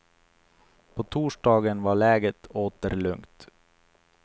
På torsdagen var läget åter lugnt.